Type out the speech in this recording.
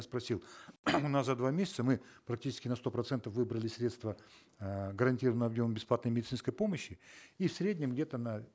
спросил у нас за два месяца мы практически на сто процентов выбрали средства э гарантированного объема бесплатной медицинской помощи и в среднем где то на